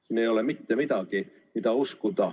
Siin ei ole mitte midagi, mida uskuda.